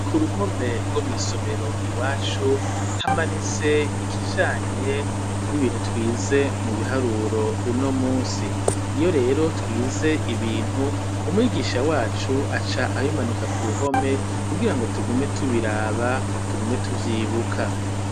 Kuruhome rwo mwisomero iwacu hamanitse ikijanye n'ibintu twize mu biharuro uno munsi, iyo rero twize ibintu umwigisha wacu aca abimanika kuruhome kugirango tugume tubiraba tugume tuvyibuka.